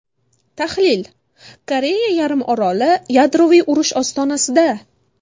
Tahlil: Koreya yarim oroli yadroviy urush ostonasida.